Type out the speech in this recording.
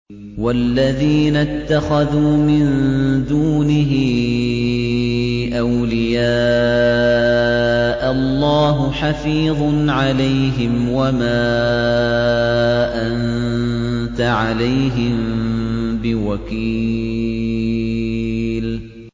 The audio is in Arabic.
وَالَّذِينَ اتَّخَذُوا مِن دُونِهِ أَوْلِيَاءَ اللَّهُ حَفِيظٌ عَلَيْهِمْ وَمَا أَنتَ عَلَيْهِم بِوَكِيلٍ